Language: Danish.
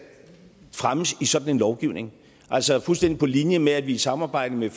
fremmes i en sådan lovgivning altså fuldstændig på linje med at vi i samarbejde med